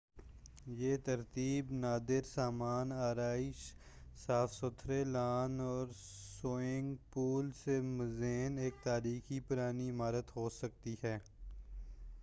یہ ترتیب نادر سامان آرائش صاف ستھرے لان اور سوئمنگ پول سے مزین ایک تاریخی پرانی عمارت ہو سکتی ہے